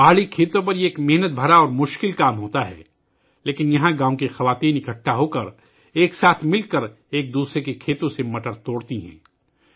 پہاڑی کھیتوں میں یہ ایک محنت طلب اور مشکل کام ہے لیکن یہاں گاؤں کی عورتیں اکٹھی ہو کر ایک دوسرے کے کھیتوں سے مٹر چنتی ہیں